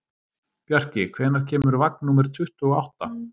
Bjarki, hvenær kemur vagn númer tuttugu og átta?